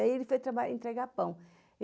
Aí ele foi trabalhar, entregar pão.